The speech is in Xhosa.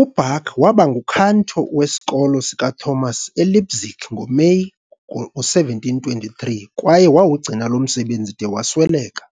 UBach waba nguKantor weSikolo sikaThomas eLeipzig ngoMeyi ngo-1723 kwaye wawugcina lo msebenzi de wasweleka.